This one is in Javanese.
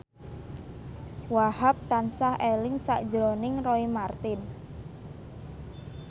Wahhab tansah eling sakjroning Roy Marten